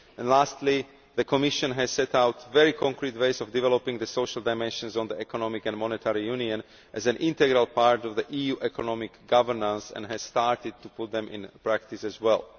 Lastly, the Commission has set out very concrete ways of developing the social dimensions of the economic and monetary union as an integral part of EU economic governance and has started to put them into practice as well.